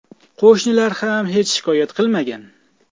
Qo‘shnilar ham hech shikoyat qilmagan.